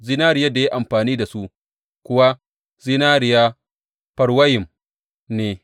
Zinariyar da ya yi amfani da su kuwa zinariya Farwayim ne.